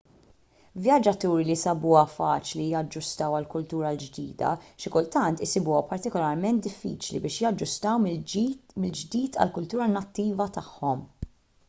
vjaġġaturi li sabuha faċli jaġġustaw għall-kultura l-ġdida xi kultant isibuha partikularment diffiċli biex jaġġustaw mill-ġdid għall-kultura nattiva tagħhom